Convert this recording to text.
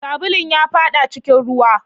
Sabulun ya faɗa cikin ruwa